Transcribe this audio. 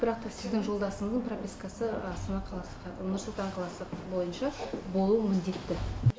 бірақ та сіздің жолдасыңыздың пропискасы нұр сұлтан қаласы бойынша болуы міндетті